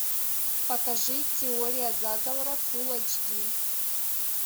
покажи теория заговора фул эйч ди